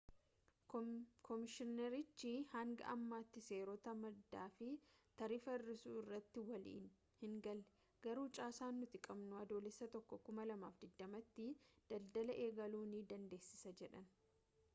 koomishiinerichi hanga ammaatti seerota maddaa fi taarifa hir'isuu irratti walii hingalle garuu caasaan nuti qabnu adoolessa 1 2020 tti daldala eegaluu nu dandeessisa jedhan